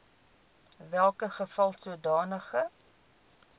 welke geval sodanige